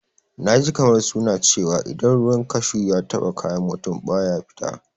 Na ji kamar suna cewa idan ruwan kashu ya taɓa kayan mutum, baya fita.